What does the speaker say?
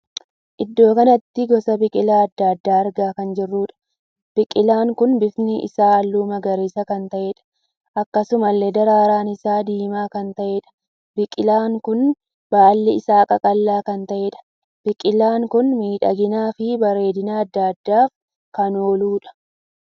Iddoo kanatti gosa biqilaa addaa addaa argaa kan jirruudha. Biqilaan kun bifti isaa halluu magariisa kan taheedha. Akkasumallee daraaraan isaa diimaa kan taheedha. Biqilaa kun baalli isaa qaqal'aa kan taheedha. Biqila kun miidhaginaa fi bareedina addaa addaaf kan ooludha.